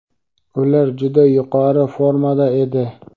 ular juda yuqori formada edi.